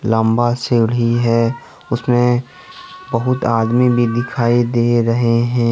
लंबा सीढ़ी है उसमें बहोत आदमी भी दिखाई दे रहे हैं।